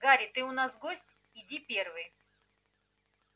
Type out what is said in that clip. гарри ты у нас гость иди первый